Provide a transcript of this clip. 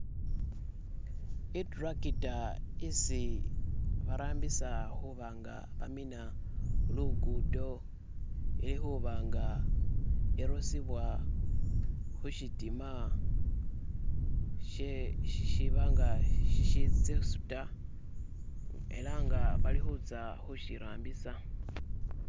Ituracta isi barambisa khuba nga bamina lugudo ili khuba nga irusiba khusitima ishiba nga shisi tsisuta ela nga bali khutsa khushirambisa.